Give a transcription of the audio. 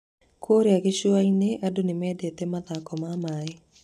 Kũrĩa gĩcũa-inĩ, andũ nĩ mendete mathako ma maĩ.